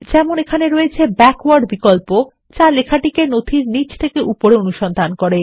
যেমন এখানে রয়েছে ব্যাকওয়ার্ড বিকল্প যালেখাটিকে নথির নীচ থেকে উপরে অনুসন্ধান করে